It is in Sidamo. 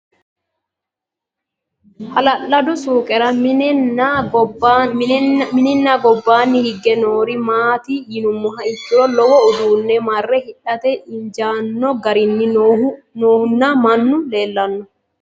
Hala'lado suuqera minee nna gobbanni hige noori maatti yinummoha ikkiro lowo uduunni marre hidhatte injjinno garinni noohu nna mannu leelanno